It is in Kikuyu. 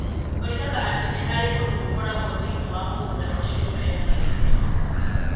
Oigaga atĩ nĩ harĩ ũndũ ũkoragwo thĩinĩ wa mũgũnda ũcio ũrehaga gĩkeno.